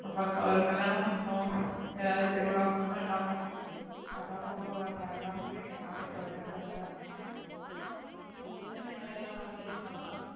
ஒரு கல்யாணம் பன்னனும் ஏதாது திருவிழா பன்னனும் என்னா அது தான் ரொம்ப பயமா இருக்கு என்ன பண்றதுனே தெரியல உங்களுக்கு தேவையான நகைலா வாங்கியாசா